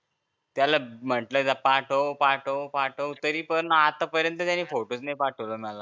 त्याला म्हंटल पाठव पाठव पाठव तरी पण आत्ता पर्यंत त्यांनी फोटो नाही पाठवले मला